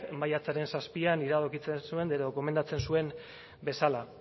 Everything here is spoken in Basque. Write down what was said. maiatzaren zazpian iradokitzen zuen edo gomendatzen zuen bezala